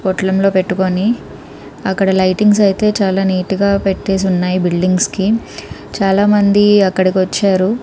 పొట్లం పెట్టుకొని అక్కడ లైటింగ్స్ ఐతే చానా నీట్ గ పెట్టేసి ఉన్నాయి బిల్డింగ్స్ కి చాలా మంది అక్కడ వచ్చారు.